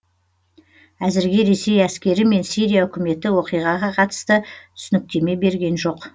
әзірге ресей әскері мен сирия үкіметі оқиғаға қатысты түсініктеме берген жоқ